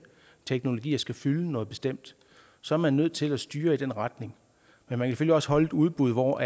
teknologier skal fylde noget bestemt så er man nødt til at styre i den retning men man kan selvfølgelig også holde et udbud hvor